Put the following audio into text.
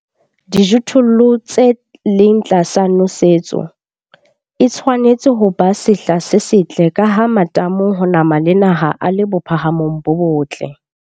Dijothollong tse leng tlasa nosetso, e tshwanetse ho ba sehla se setle ka ha matamo ho nama le naha a le bophahamong bo botle.